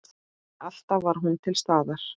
Alltaf var hún til staðar.